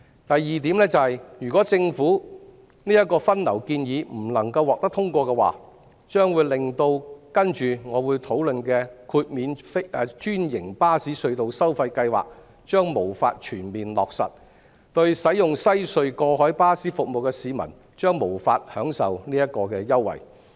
第二，如果政府的分流建議不能獲得通過，將會令我接着會討論的豁免專營巴士隧道收費計劃無法全面落實，使用西隧過海巴士服務的市民將無法享受此優惠。